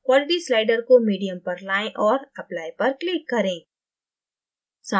quality slider को medium पर लायें और applyपर click करें